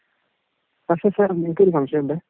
പക്ഷെ സർ എനിക്കൊരു സംശയമുണ്ട്.